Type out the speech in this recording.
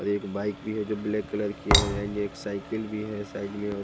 एक बाइक भी है जो ब्लैक कलर की है यह एल साइकिल भी है साइड में और--